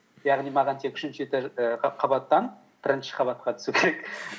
яғни маған тек үшінші і қабаттан бірінші қабатқа түсу керек